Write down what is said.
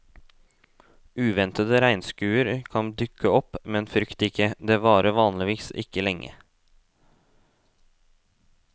Uventede regnskurer kan dukke opp, men frykt ikke, det varer vanligvis ikke lenge.